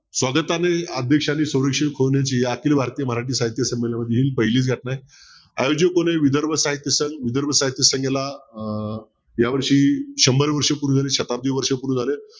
स्वागताने आखिल भारतीय मराठी संमेलनातील ही पहिली व्यथा आहे आयोजकाने विदर्भ साहित्यसंगेला अं या वर्षी शंभर वर्ष पूर्ण झाले शताब्दी वर्ष पूर्ण झालेत